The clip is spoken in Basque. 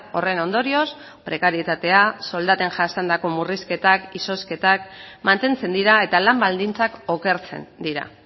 horren ondorioz prekarietatea soldaten jasandako murrizketak izozketak mantentzen dira eta lan baldintzak okertzen dira